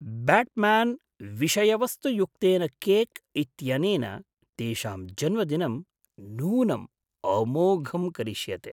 Batman विषयवस्तुयुक्तेन cake इत्यनेन तेषां जन्मदिनं नूनं अमोघं करिष्यते!